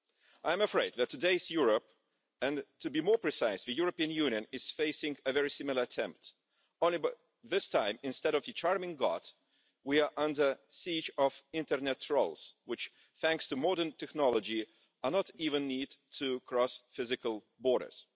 I am afraid that today's Europe, and to be more precise, the European Union, is facing a very similar attempt, only this time, instead of the charming god, we are under siege of internet trolls which, thanks to modern technology, do not even need to cross physical borders.